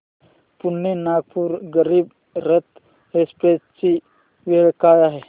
Pune Nagpur Garib Rath express ची वेळ काय आहे